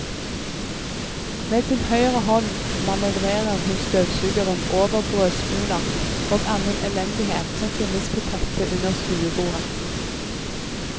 Med sin høyre hånd manøvrerer hun støvsugeren over brødsmuler og annen elendighet som finnes på teppet under stuebordet.